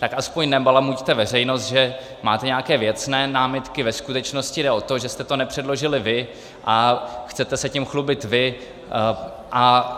Tak aspoň nebalamuťte veřejnost, že máte nějaké věcné námitky, ve skutečnosti jde o to, že jste to nepředložili vy a chcete se tím chlubit vy.